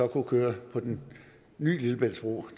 køre på den nye lillebæltsbro